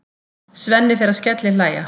Svenni fer að skellihlæja.